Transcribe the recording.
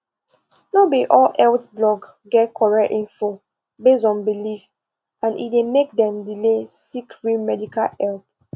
no be all health blog get correct info based on belief and e dey make dem delay seek real medical help